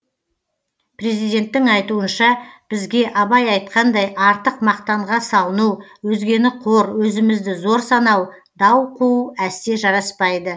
президенттің айтуынша бізге абай айтқандай артық мақтанға салыну өзгені қор өзімізді зор санау дау қуу әсте жараспайды